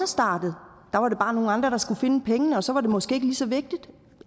startet der var det bare nogle andre der skulle finde pengene og så var det måske ikke lige så vigtigt